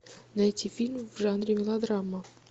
найти фильм в жанре мелодрама